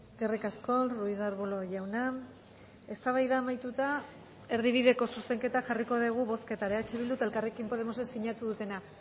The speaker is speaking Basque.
eskerrik asko ruiz de arbulo jauna eztabaida amaituta erdibideko zuzenketa jarriko dugu bozketara eh bildu eta elkarrekin podemosek sinatu dutena